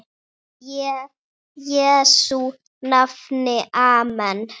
Í Jesú nafni amen.